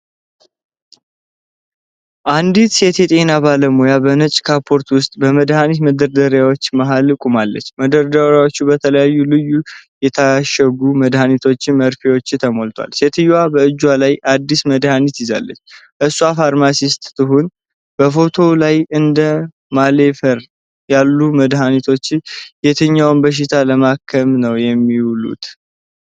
አንዲት ሴት የጤና ባለሙያ በነጭ ካፖርት ውስጥ፣ በመድኃኒት መደርደሪያዎች መሃል ቆማለች። መደርደሪያዎቹ በልዩ ልዩ የታሸጉ መድኃኒቶችና መርፌዎች ተሞልተዋል። ሴትየዋ በእጇ ላይ አዲስ መድኃኒት ይዛለች። እሷ ፋርማሲስት ትሁን። በፎቶው ላይ እንደ ማሌፈርት ያሉ መድኃኒቶች የትኛውን በሽታ ለማከም ነው የሚውሉት?